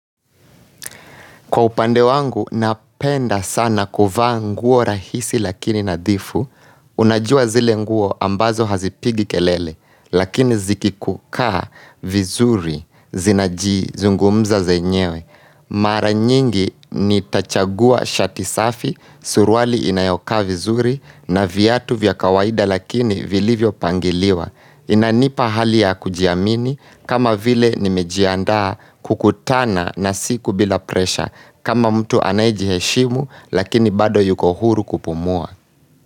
Kwa upande wangu, napenda sana kuvaa nguo rahisi lakini nadhifu, unajua zile nguo ambazo hazipigi kelele, lakini zikikukaa vizuri zinaji zungumza zenyewe. Mara nyingi nitachagua shati safi, suruali inayokaa vizuri na viatu vya kawaida lakini vilivyo pangiliwa. Inanipa hali ya kujiamini kama vile nimejiandaa kukutana na siku bila pressure kama mtu anayejiheshimu lakini bado yuko huru kupumua.